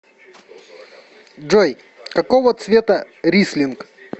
джой какого цвета рислинг